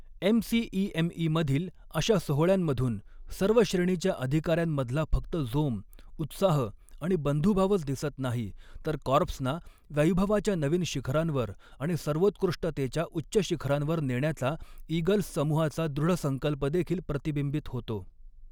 MCEME मधील अशा सोहळ्यांमधून, सर्व श्रेणीच्या अधिकाऱ्यांमधला फक्त जोम, उत्साह आणि बंधुभावच दिसत नाही, तर कॉर्प्सना वैभवाच्या नवीन शिखरांवर आणि सर्वोत्कृष्टतेच्या उच्च शिखरांवर नेण्याचा ईगल्स समूहाचा दृढसंकल्प देखील प्रतिबिंबित होतो.